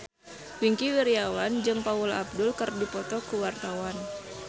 Wingky Wiryawan jeung Paula Abdul keur dipoto ku wartawan